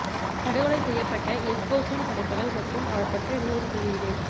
படுகொலை செய்யப்பட்ட எஸ்போஸின் படைப்புகள் மற்றும் அவர் பற்றிய நூல் வெளியீடு